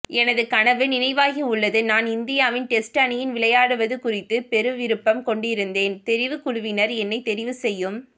எனது கனவு நினைவாகியுள்ளது நான் இந்தியாவின் டெஸ்ட் அணியில் விளையாடுவது குறித்து பெருவிருப்பம் கொண்டிருந்தேன் தெரிவுக்குழுவினர் என்னை தெரிவு செய்யும்